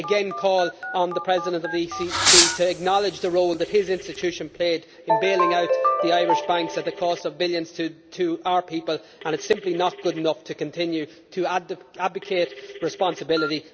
I again call on the President of the ECB to acknowledge the role that his institution played in bailing out the Irish banks at the cost of billions to our people, and it is simply not good enough to continue to abdicate responsibility.